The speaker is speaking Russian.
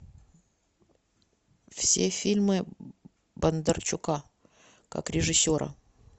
все фильмы бондарчука как режиссера